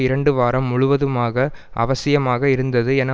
இரண்டு வாரம் முழுவதுமாக அவசியமாக இருந்தது என